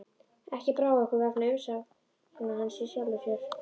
Ekki brá okkur vegna umsagna hans í sjálfu sér.